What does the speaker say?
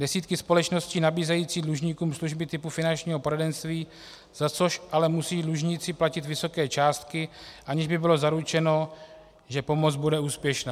Desítky společností nabízejí dlužníkům služby typu finančního poradenství, za což ale musí dlužníci platit vysoké částky, aniž by bylo zaručeno, že pomoc bude úspěšná.